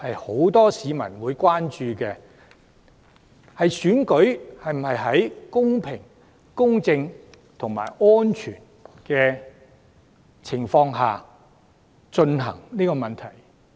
很多市民亦關注選舉能否在公平、公正及安全的情況下進行。